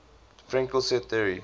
fraenkel set theory